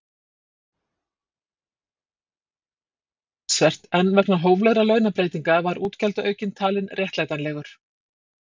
Þeir samningar juku útgjöld ríkissjóðs talsvert en vegna hóflegra launabreytinga var útgjaldaaukinn talinn réttlætanlegur.